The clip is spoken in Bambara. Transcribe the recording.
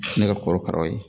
Ne ka korokaraw ye